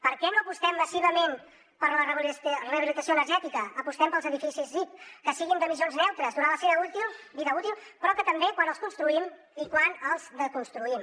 per què no apostem massivament per la rehabilitació energètica apostem pels edificis zip que siguin d’emissions neutres durant la seva vida útil però també quan els construïm i quan els desconstruïm